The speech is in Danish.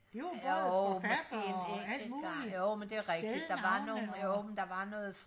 det var både forfattere og alt muligt stednavne og